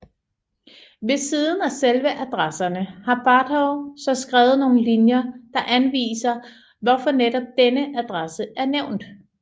Ved siden af selve adresserne har Barhow så skrevet nogle linjer der anviser hvorfor netop denne adresse er nævnt